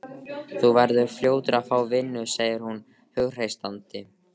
Þú verður fljótur að fá vinnu, segir hún hughreystandi.